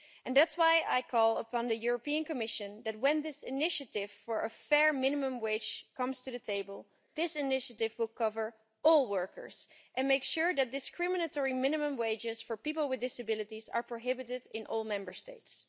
That is why I call upon the Commission that when this initiative for a fair minimum wage comes to the table, it will cover all workers and make sure that discriminatory minimum wages for people with disabilities are prohibited in all Member States.